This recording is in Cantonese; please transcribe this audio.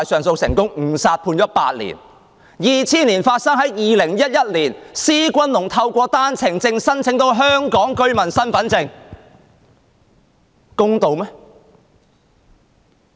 事件在2000年發生，但在2011年，施君龍透過單程證申請得到香港居民身份證，這公道嗎？